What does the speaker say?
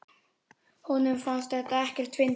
Honum fannst þetta ekkert fyndið.